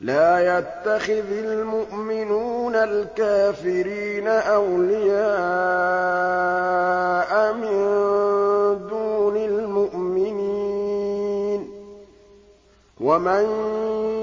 لَّا يَتَّخِذِ الْمُؤْمِنُونَ الْكَافِرِينَ أَوْلِيَاءَ مِن دُونِ الْمُؤْمِنِينَ ۖ وَمَن